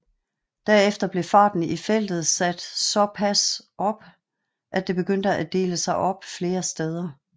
Derefter blev farten i feltet sat såpas op at det begyndte at dele sig op flere steder